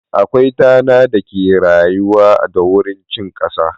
Akwai tana da ke rayuwa da wurin cin kasa.